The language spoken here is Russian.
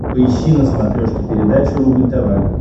поищи на смотрешке передачу рубль тв